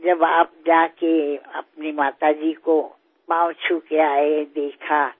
উৎসৱৰ বতৰ যে আগন্তুক সপ্তাহ কেইটাত সমগ্ৰ দেশ উৎসৱৰ ধামখুমীয়াত ব্যস্ত হৈ পৰিব